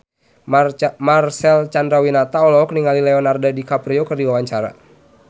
Marcel Chandrawinata olohok ningali Leonardo DiCaprio keur diwawancara